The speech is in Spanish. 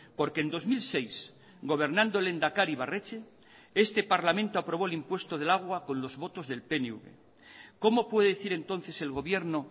porque en dos mil seis gobernando el lehendakari ibarretxe este parlamento aprobó el impuesto del agua con los votos del pnv cómo puede decir entonces el gobierno